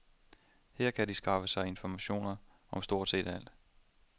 Her kan de skaffe sig information om stort set alt.